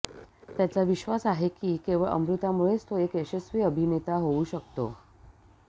त्याचा विश्वास आहे की केवळ अमृतामुळेच तो एक यशस्वी अभिनेता होऊ शकतो